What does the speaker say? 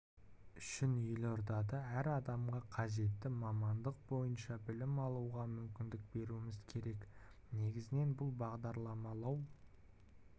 үшін елордада әр адамға қажетті мамандық бойынша білім алуға мүмкіндік беруіміз керек негізінен бұл бағдарламалау